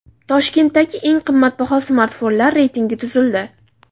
Toshkentdagi eng qimmatbaho smartfonlar reytingi tuzildi.